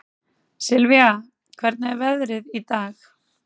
Sylvia, hvernig er veðrið í dag?